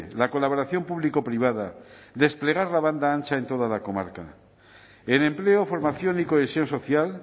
la colaboración público privada desplegar la banda ancha en toda la comarca en empleo formación y cohesión social